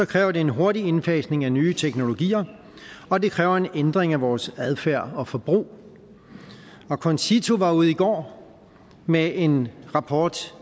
kræver det en hurtig indfasning af nye teknologier og det kræver en ændring af vores adfærd og forbrug og concito var ude i går med en rapport